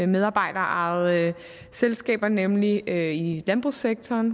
medarbejderejede selskaber nemlig i landbrugssektoren